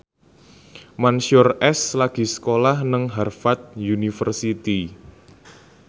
Mansyur S lagi sekolah nang Harvard university